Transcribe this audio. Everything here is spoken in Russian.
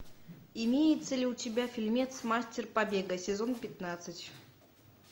имеется ли у тебя фильмец мастер побега сезон пятнадцать